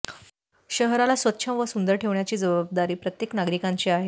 शहराला स्वच्छ व सुंदर ठेवण्याची जबाबदारी प्रत्येक नागरिकांची आहे